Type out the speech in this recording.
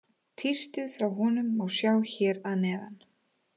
Tístið frá honum má sjá hér að neðan.